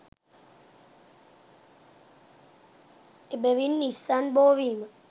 එබැවින් ඉස්සන් බෝ වීම